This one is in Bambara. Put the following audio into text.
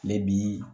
Mɛ bi